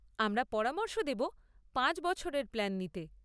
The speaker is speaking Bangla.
আমরা পরামর্শ দেব পাঁচ বছরের প্ল্যান নিতে।